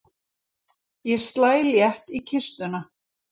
Ég slæ létt í kistuna.